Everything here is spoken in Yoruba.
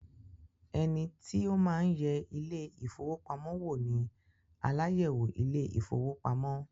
Ẹnití ó máa ń yẹ ile-ìfowópamó wò ní aláyẹ̀wò ile-ìfowópamó